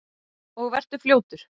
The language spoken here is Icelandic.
Og vertu fljótur.